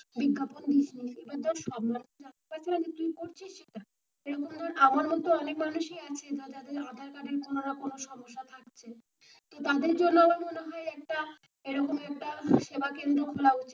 বিজ্ঞাপন দিস নি, এবার ধর আমার মতো অনেক মানুষ ই আছে যাদের আধার কার্ড এর কোনো রকম সমস্যা থাকছে, তাদের জন্য একটা এই রকমই একটা সেবা কেন্দ্র খোলা উচিত,